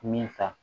Min ta